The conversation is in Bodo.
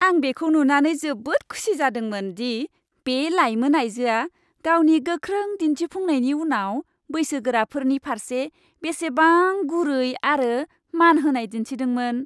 आं बेखौ नुनानै जोबोद खुसि जादोंमोन दि बे लाइमोन आयजोआ गावनि गोख्रों दिन्थिफुंनायनि उनाव बैसोगोराफोरनि फारसे बेसेबां गुरै आरो मान होनाय दिन्थिदोंमोन।